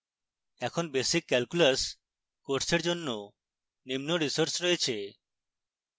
এখন basic calculus বিষয়ের জন্য নিম্ন resources রয়েছে